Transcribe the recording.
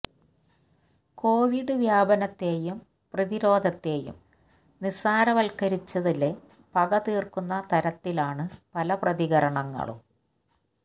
Covid വ്യാപനത്തെയും പ്രതിരോധത്തെയും നിസാരവത്കരിച്ചതില് പക തീര്ക്കുന്ന തരത്തിലാണ് പല പ്രതികരണങ്ങളും